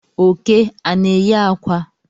Oke ana enyi akwa?